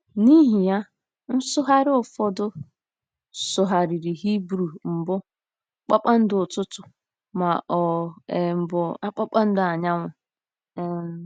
N’ihi ya, nsụgharị ụfọdụ sụgharịrị Hibru mbụ “kpakpando ụtụtụ” ma ọ um bụ “ Kpakpando Anyanwụ um .”